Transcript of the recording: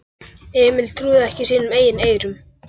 Emil trúði ekki sínum eigin eyrum.